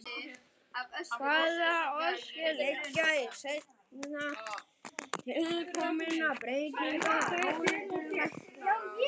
Hvaða orsakir liggja til seinna tilkominna breytinga að áliti læknaráðs?